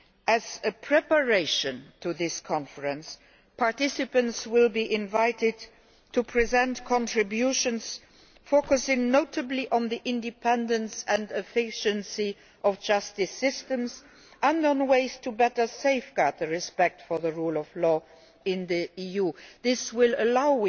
As a preparation for this conference, participants will be invited to present contributions, focusing notably on the independence and efficiency of justice systems and on ways to better safeguard respect for the rule of law in the EU. We hope that this will allow